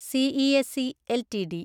CESC LTD